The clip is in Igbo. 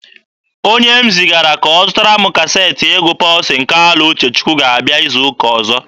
Onye m zigara ka ọ zụtara m kaseetị egwu Pọlsin Kalụ Uchechukwu ga-abịa izu ụka ọzọ.